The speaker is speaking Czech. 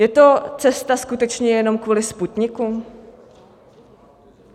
Je to cesta skutečně jenom kvůli Sputniku?